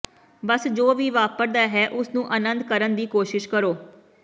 ਬਸ ਜੋ ਵੀ ਵਾਪਰਦਾ ਹੈ ਉਸਨੂੰ ਆਨੰਦ ਕਰਨ ਦੀ ਕੋਸ਼ਿਸ਼ ਕਰੋ